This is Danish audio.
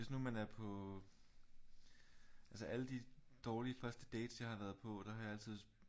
Hvis nu man er på altså alle de dårlige første dates jeg har været på der har jeg altid